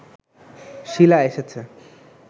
শীলা এসেছে